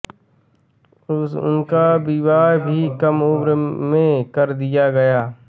उनका विवाह भी कम उम्र में कर दिया गया